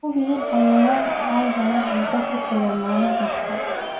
Hubi in xayawaanku ay helaan cunto ku filan maalin kasta.